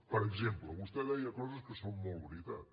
per exemple vostè deia coses que són molt veritat